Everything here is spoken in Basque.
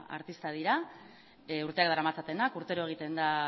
artista dira urteak daramatzatenak urtero egiten da